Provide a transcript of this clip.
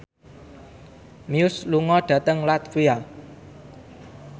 Muse lunga dhateng latvia